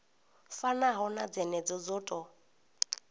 fanaho na dzenedzo dzo tou